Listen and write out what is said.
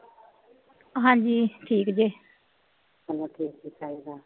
ਹਾਂਜੀ ਠੀਕ ਜੇ,